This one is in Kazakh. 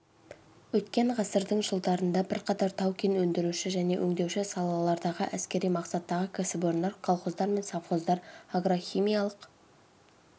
өткен ғасырдың жылдарында бірқатар тау-кен өндіруші және өңдеуші салалардағы әскери мақсаттағы кәсіпорындар колхоздар мен совхоздар агрохимиялық